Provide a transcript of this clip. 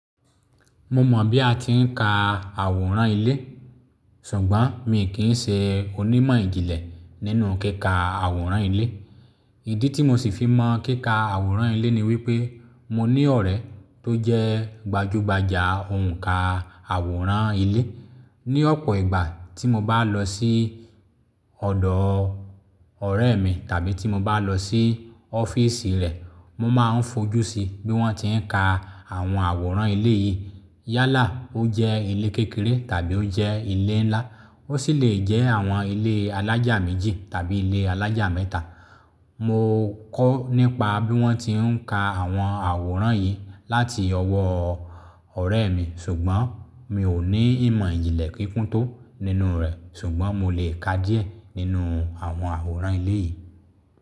Mo mọ̀ bí a ti ń ka àwòrán ilé, ṣùgbọ́n mi kì í ṣe onímọ̀ ìjìnlẹ̀ nínú kíkà àwòrán ilé. Ìdí tí mo sì fi mọ kíkà àwòrán ilé ni wípé mo ní ọ̀rẹ́ tó jẹ́ gbajugbaja ó ń kà àwòrán ilé ni ọ̀pọ̀ ìgbà tí mo bá lọ sí ọ̀dọ́ ọ̀rẹ́ mi tàbí tí mo bá lọ sí ọ́fíìsì rẹ̀, mo máa ń fojú sí bí wọ́n ti ń ka àwọn àwòrán ilé yìí. Yálà ó jẹ́ ilé kékeré tàbí ó jẹ́ ilé ńlá, ó sì lè jẹ́ àwọn ilé alájà méjì tàbí ilé alájà mẹ́ta. Mo kọ́ nípa bí wọ́n ti ń ka àwọn àwòrán yìí láti ọwọ́ ọ̀rẹ́ mi, ṣùgbọ́n mi ò ní ìmọ̀ ìjìnlẹ̀ kíkún tó nínú rẹ̀. Ṣùgbọ́n mo lè ká díẹ̀ nínú àwọn àwòrán ilé yìí.